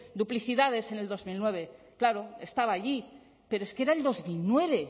duplicidades en el dos mil nueve claro estaba allí pero es que era el dos mil nueve